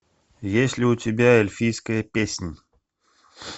есть ли у тебя эльфийская песнь